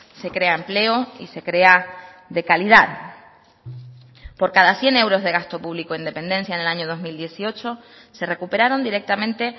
se crea empleo y se crea de calidad por cada cien euros de gasto público en dependencia en el año dos mil dieciocho se recuperaron directamente